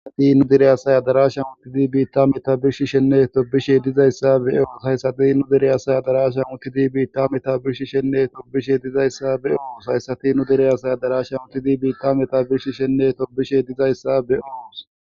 Hati nu direyasaya darasha muttidi biitta meta birshi shenneeto bishe dizayssa be ooos hayssati nu direyasaya darasha muttidi biitta meta birshi shenneeto bishe dizayssa be oos hayssati nu direyasaya darasha muttidi biitta meta birshi shenneeto bishe dizayssa be ous.